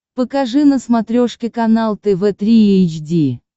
покажи на смотрешке канал тв три эйч ди